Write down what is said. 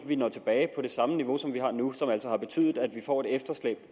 vi når tilbage på det samme niveau som vi har nu og som altså har betydet at vi får et efterslæb